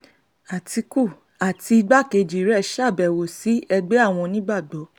atiku àti igbákejì rẹ̀ ṣàbẹ̀wò sí ẹgbẹ́ àwọn onígbàgbọ́